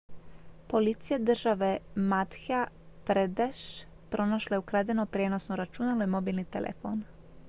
policija države madhya pradesh pronašla je ukradeno prijenosno računalo i mobilni telefon